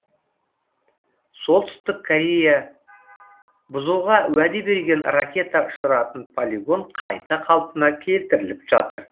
солтүстік корея бұзуға уәде берген ракета ұшыратын полигон қайта қалпына келтіріліп жатыр